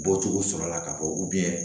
Bɔcogo sɔrɔla la ka fɔ